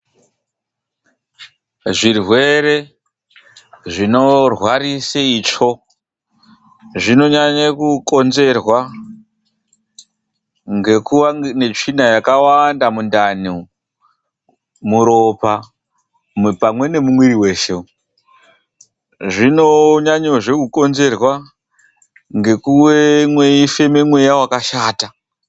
Zvirwere zvinorwarisa ltsvo zvinonyanya kukonzerwa ngekuwa netsvina yakawanda mundani , muropa pamwe numumwiri mweshe zvinokonzerwa zve nekufema mweya wamashata.